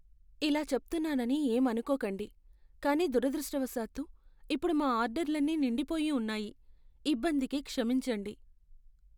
ఇలా చెప్తున్నానని ఏం అనుకోకండి, కానీ దురదృష్టవశాత్తు, ఇప్పుడు మా ఆర్డర్లన్నీ నిండిపోయి ఉన్నాయి. ఇబ్బందికి క్షమించండి.